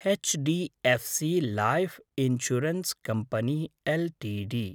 HDFC life insurance company LTD